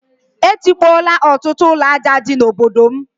E tikpola ọtụtụ ụlọ ajọ ọtọ dị na obodo m